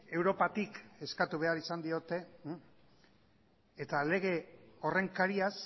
europatik eskatu behar izan diote eta lege horren kariaz